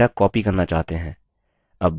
अब बायें mouse button को छोड़ दें